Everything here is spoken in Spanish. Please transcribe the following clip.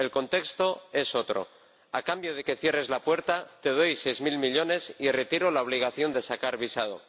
El contexto es otro a cambio de que cierres la puerta, te doy seis mil millones y retiro la obligación de sacar visado.